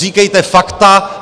Říkejte fakta.